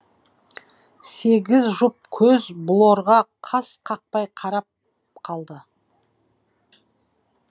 сегіз жұп көз блорға қас қақпай қарап қалды